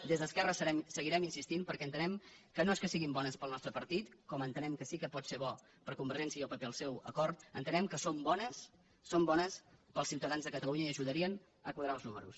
des d’esquerra hi seguirem insistint perquè entenem que no és que siguin bones per al nostre partit com entenem que sí que pot ser bo per a convergència i el pp el seu acord entenem que són bones per als ciutadans de catalunya i ajudarien a quadrar els números